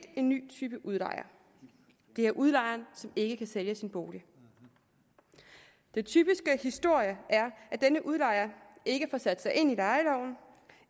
en ny type udlejer det er udlejeren som ikke kan sælge sin bolig den typiske historie er at denne udlejer ikke får sat sig ind i lejeloven